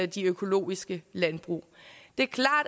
de økologiske landbrug det